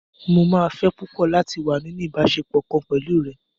Mó máa fẹ́ púpọ̀ láti wá nínú ìbáṣepọ̀ kan pẹ̀lú rẹ.